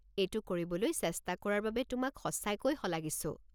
এইটো কৰিবলৈ চেষ্টা কৰাৰ বাবে তোমাক সঁচাকৈ শলাগিছো।